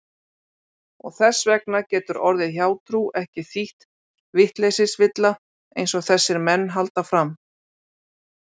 Og þess vegna getur orðið hjátrú ekki þýtt vitleysisvilla einsog þessir menn halda fram.